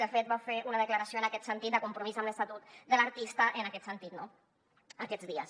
i de fet va fer una declaració en aquest sentit de compromís amb l’estatut de l’artista aquests dies